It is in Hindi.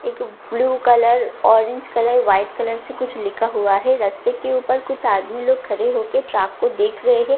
एक blue colour orange colour white colour से कुछ लिखा हुआ है रस्ते के ऊपर कुछ आदमी लोग खड़े होकर ट्राक को देख रहे हैं आस --